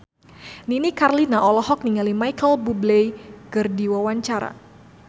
Nini Carlina olohok ningali Micheal Bubble keur diwawancara